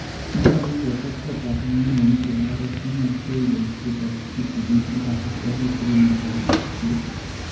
nyolu ketet kotab ngogenik en oret nemachei boisiet kitigin ak kasarta kitigin nebo ripset.